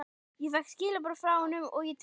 Ég fékk skilaboð frá honum og ég trúði því ekki.